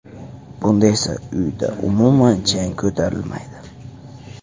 Bunda esa uyda umuman chang ko‘tarilmaydi.